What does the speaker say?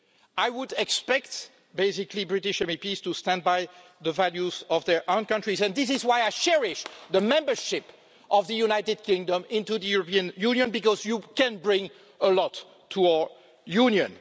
I would basically expect British MEPs to stand by the values of their own country, and this is why I cherish the membership of the United Kingdom in the European Union because you can bring a lot to our Union.